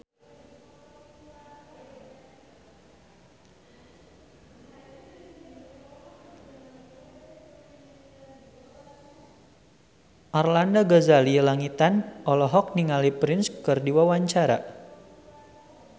Arlanda Ghazali Langitan olohok ningali Prince keur diwawancara